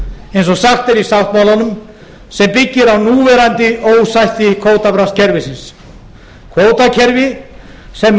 eins og sagt er í sáttmálunum sem byggir á núverandi ósætti kvótabraskskerfisins kvótakerfi sem með